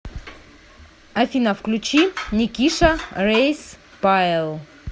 афина включи никиша рейс пайл